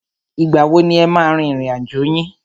Ìgbà wo ni e máa a rin ìrìn àjò yín?